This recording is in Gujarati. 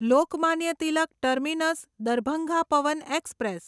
Lokmanya Tilak terminus Darbhanga Pawan express